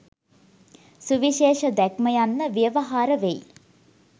සුවිශේෂ දැක්ම යන්න ව්‍යවහාරවෙයි.